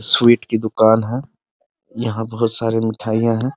Sweet की दुकान है यहाँ बहुत सारी मिठाइयां है ।